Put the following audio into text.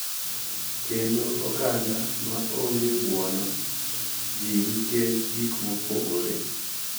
Kendo oganda ma onge buono ji nikech gik mopogore.